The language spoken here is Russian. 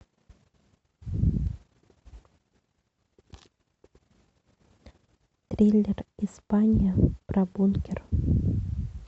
триллер испания про бункер